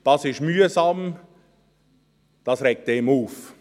Das ist mühsam, das regt einen auf.